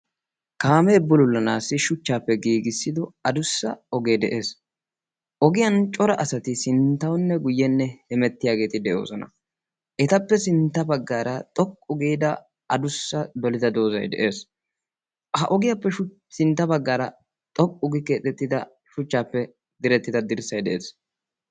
kaamee bulullanaassi shuchchaappe giigissido adussa ogee de'ees. ogiyan cora asati sinttaunne guyyenne hemettiyaageeti de'oosona. etappe sintta baggaara xoqqu giida adussa dolida doozai de'ees. ha ogiyaappe sintta baggaara xoqqu gii keexettida shuchchaappe direttida dirssai de'ees.